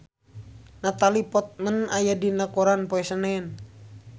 Natalie Portman aya dina koran poe Senen